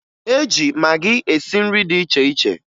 E ji magị esi nri dị iche iche